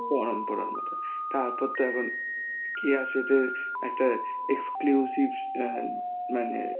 পরম্পরার মত. তারপর তো এখন কেয়া শেঠ এর একটা exclusive অ্যাঁ মানে